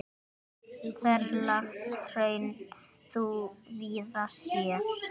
Ferlegt hraun þú víða sérð.